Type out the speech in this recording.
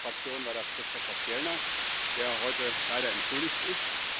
Für unsere Fraktion war das Christofer Fjellner, der heute leider entschuldigt ist.